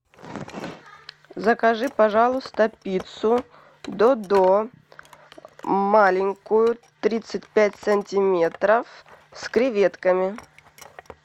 закажи пожалуйста пиццу додо маленькую тридцать пять сантиметров с креветками